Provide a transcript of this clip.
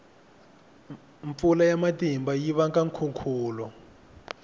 mpfula ya matimba yi vanga nkhukhulo